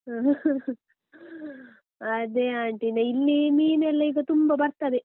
, ಅದೆ aunty ಇಲ್ಲಿ ಮೀನು ಎಲ್ಲ ಈಗ ತುಂಬ ಬರ್ತದೆ.